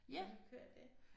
har du ikke hørt det?